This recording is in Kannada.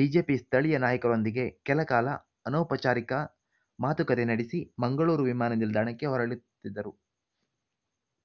ಬಿಜೆಪಿ ಸ್ಥಳೀಯ ನಾಯಕರೊಂದಿಗೆ ಕೆಲಕಾಲ ಅನೌಪಚಾರಿಕ ಮಾತುಕತೆ ನಡಿಸಿ ಮಂಗಳೂರು ವಿಮಾನ ನಿಲ್ದಾಣಕ್ಕೆ ಹೊರಟಿದ್ದರು